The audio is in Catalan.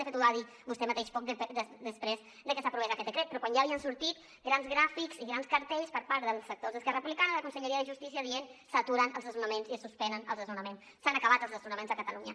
de fet ho va dir vostè mateix poc després que s’aprovés aquest decret pe rò quan ja havien sortit grans gràfics i grans cartells per part dels sectors d’esquerra republicana de la conselleria de justícia dient s’aturen els desnonaments i es suspenen els desnonaments s’han acabat els desnonaments a catalunya